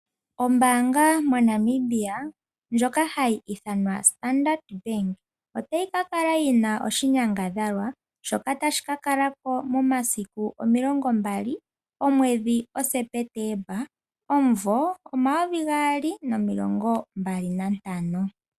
Ombaanga moNamibia ndjoka hayi ithanwa standard Bank, otayi kakala yina oahinyangadhalwa shoka tashi kakalako momasiku 20 Septemba 2025.